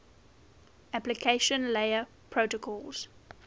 application layer protocols